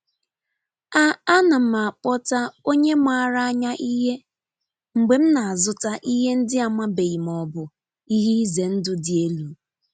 A A na m akpọta onye maara anya ihe mgbe m na-azụta ihe ndị amabeghị ma ọ bụ ihe ize ndụ dị elu.